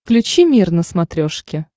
включи мир на смотрешке